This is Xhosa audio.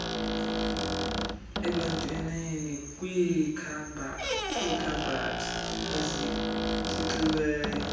ebantwaneni kwiikhabhathi ezitshixiweyo